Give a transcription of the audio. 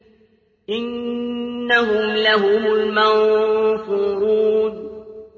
إِنَّهُمْ لَهُمُ الْمَنصُورُونَ